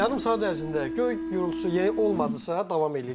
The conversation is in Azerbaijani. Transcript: Yarım saat ərzində göy gurultusu yenə olmadısa, davam eləyir.